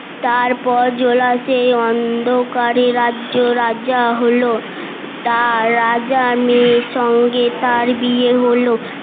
তারপর জোলা সেই অন্ধকারে রাজ্য রাজা হলো তার রাজার মেয়ের সঙ্গে তার বিয়ে হলো